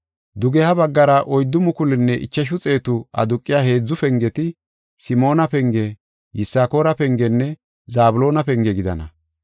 Dugeha baggara oyddu mukulunne ichashu xeetu aduqiya heedzu pengeti, Simoona penge, Yisakoora pengenne Zabloona penge gidana.